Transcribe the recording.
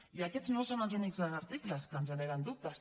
i aquests no són els únics articles que ens generen dubtes